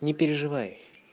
не переживай